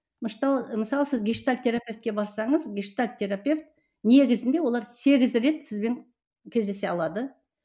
мысалы сіз гештальт терапевтке барсаңыз гештальт терапевт негізінде олар сегіз рет сізбен кездесе алады